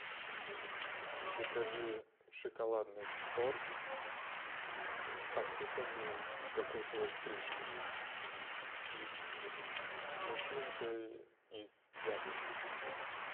закажи шоколадный торт посыпанный кокосовой стружкой и с начинкой из яблок